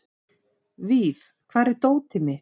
Víf, hvar er dótið mitt?